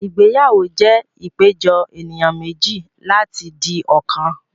Ìgbéyàwó jẹ́ ìpéjọ ènìyàn méjì láti di ọ̀kan